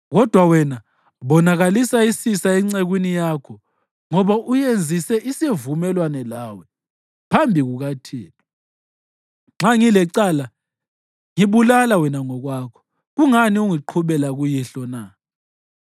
Kodwa wena, bonakalisa isisa encekwini yakho ngoba uyenzise isivumelwano lawe phambi kukaThixo. Nxa ngilecala, ngibulala wena ngokwakho! Kungani ungiqhubela kuyihlo na?”